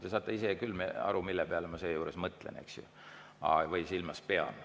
Te saate isegi aru, mille peale ma seejuures mõtlen või mida silmas pean.